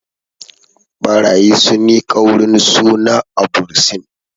ɓarayi sun yi ƙaurin suna a bursin